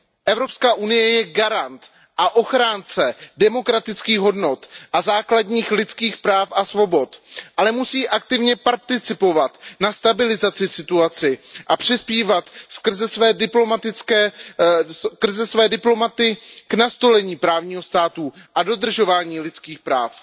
Evropská unie je garant a ochránce demokratických hodnot a základních lidských práv a svobod, ale musí aktivně participovat na stabilizaci situace a přispívat skrze své diplomaty k nastolení právního státu a dodržování lidských práv.